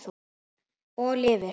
Og lifir.